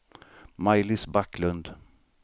Maj-Lis Backlund